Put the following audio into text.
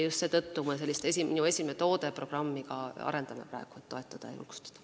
Just seetõttu me seda "Minu esimene toode" programmi ka arendame praegu, et neid toetada ja julgustada.